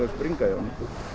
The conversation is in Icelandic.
springa í honum